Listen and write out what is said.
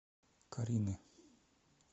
карины